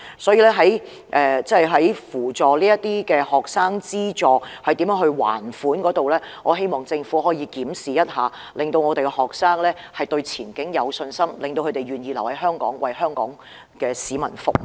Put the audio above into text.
所以，我希望政府可以檢視學生償還學費貸款的方法，並扶助他們，令學生對前景有信心，並願意留在香港為香港市民服務。